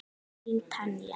Þín Tanja.